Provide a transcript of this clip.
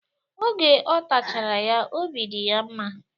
Oge ọ tachara ya, obi dị ya mma.